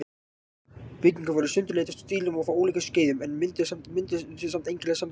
Byggingarnar voru í sundurleitum stílum og frá ólíkum skeiðum, en mynduðu samt einkennilega samræmda heild.